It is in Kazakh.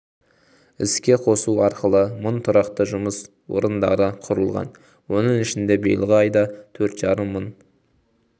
іске қосу арқылы мың тұрақты жұмыс орындары құрылған оның ішінде биылғы айда төрт жарым мың